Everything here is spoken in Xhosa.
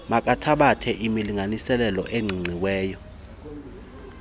makathabathe imilinganiselo eqiqiweyo